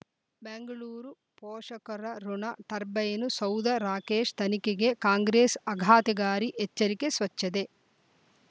ಬೆಂಗಳೂರು ಪೋಷಕರ ಋಣ ಟರ್ಬೈನು ಸೌಧ ರಾಕೇಶ್ ತನಿಖೆಗೆ ಕಾಂಗ್ರೆಸ್ ಆಘಾತಗಾರಿ ಎಚ್ಚರಿಕೆ ಸ್ವಚ್ಛದೆ